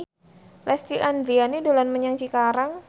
Lesti Andryani dolan menyang Cikarang